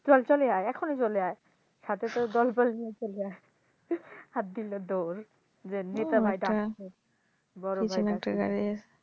চল চলে আয় এখনই চলে আয় সাথে তোর দলবল নিয়ে চলে আয় আর দিল দৌড় যে নেতা ভাই একটা গাড়ি